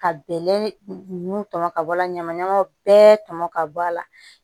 Ka bɛlɛ nun tɔmɔ ka bɔ a la ɲamaɲamaw bɛɛ tɔmɔ ka bɔ a la